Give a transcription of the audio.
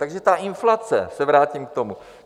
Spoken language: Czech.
Takže ta inflace, vrátím se k tomu.